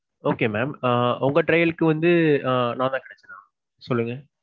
okay mam உங்க trial க்கு வந்து நான் தான் கிடைச்சேனா சொல்லுங்க.